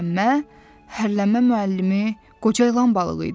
Hərlənmə müəllimi qoca ilan balığı idi.